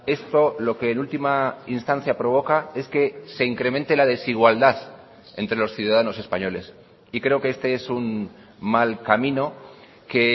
esto lo que en última instancia provoca es que se incremente la desigualdad entre los ciudadanos españoles y creo que este es un mal camino que